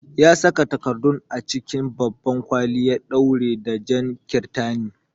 Ya saka takardun a cikin babban kwali ya ɗaure ta da jan kirtani.